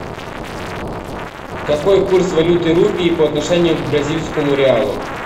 какой курс валюты рупии по отношению к бразильскому реалу